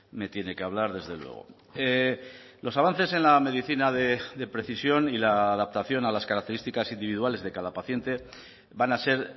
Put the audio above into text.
me tiene que hablar desde luego los avances en la medicina de precisión y la adaptación a las características individuales de cada paciente van a ser